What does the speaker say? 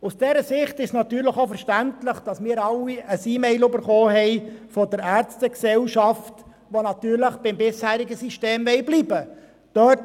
Aus dieser Sicht ist es verständlich, das wir alle eine E-Mail der Ärztegesellschaft erhalten haben, welche natürlich beim bisherigen System bleiben will.